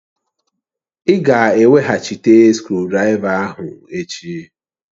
Ị ga-eweghachite skrụdiraiva ahụ echi!